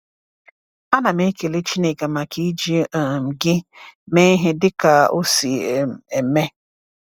A na m ekele Chineke maka iji um gị mee ihe dịka o si um eme.